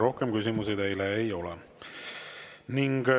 Rohkem küsimusi teile ei ole.